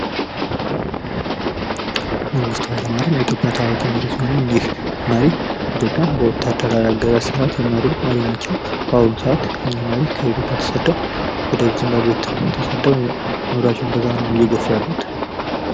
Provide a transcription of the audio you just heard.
መንግስቱ ሃይለማርያም የኢትዮጵያ ታዋቂ መሪ ሲሆኑ እኒህ መሪ ኢትዮጵያን በወታደራዊ አገዛዝ ስርዓት የመሩ መሪ ናቸው። በአሁኑ ሰዓት እኒህ መሪ ከኢትዮጵያ ተሰደው ወደ ዙምባቤ ተሰደው ኑሯቸውን በዛ ነው እየገፉ ያሉት።